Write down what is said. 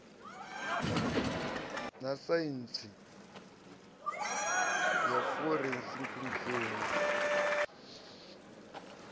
na saintsi ya forensikhi mushumi